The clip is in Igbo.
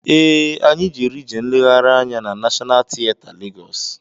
Ee, anyị jere ije nleghari anya na Nashọnal tieta Legọs.